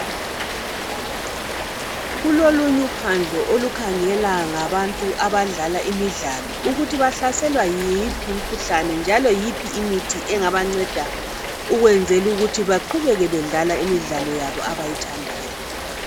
Kulolunye uphandlo olukangela ngabantu abadlala imidlalo ukuthi bahlaselwa yiphi imikhuhlane njalo yiphi imithi engabanceda ukwenzela ukuthi baqhubeke bedlala imidlalo yabo abayithandayo.